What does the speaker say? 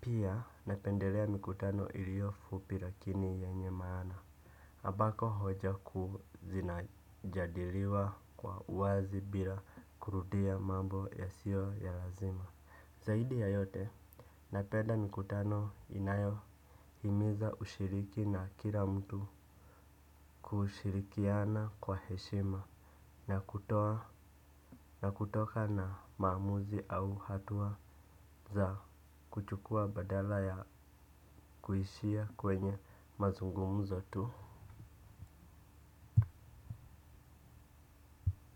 Pia napendelea mikutano ilio fupi lakini yenye maana ambako hoja kuu zinajadiliwa kwa uwazi bila kurudia mambo yasio ya lazima. Zaidi ya yote napenda mikutano inayohimiza ushiriki na kila mtu kushirikiana kwa heshima na kutoa na kutoka na maamuzi au hatua za kuchukua badala ya kuishia kwenye mazungumuzo tu.